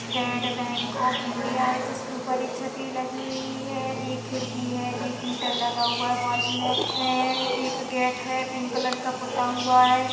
State bank of India है जिसके ऊपर एक छत्री लगी हुई है एक खिड़की है एक मीटर लगा हुआ है बाजू मे हैएक गेट है पिक कलर का पुता हुआ है।